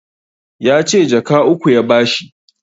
Yace jaka uku ya ba shi